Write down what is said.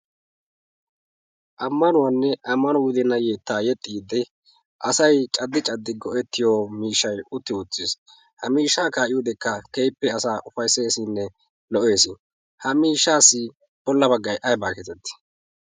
ammanuwaanne ammano wude nayyeettaa yexxiidde asai caddi caddi go''ettiyo miishshai utti oottiis ha miishshaa kaa'iyodekka kehippe asaa ufaisseesinne lo''ees ha miishshaassi bolla baggai aibaa keetettii?